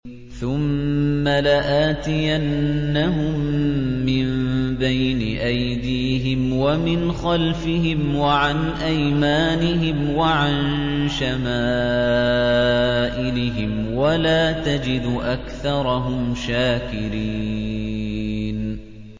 ثُمَّ لَآتِيَنَّهُم مِّن بَيْنِ أَيْدِيهِمْ وَمِنْ خَلْفِهِمْ وَعَنْ أَيْمَانِهِمْ وَعَن شَمَائِلِهِمْ ۖ وَلَا تَجِدُ أَكْثَرَهُمْ شَاكِرِينَ